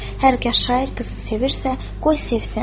Hər qız şair qızı sevirsə, qoy sevsin.